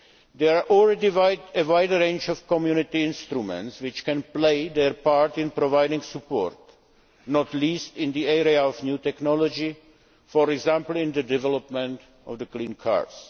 There is already a wide range of Community instruments which can play their part in providing support, not least in the area of new technology, for example in the development of clean cars.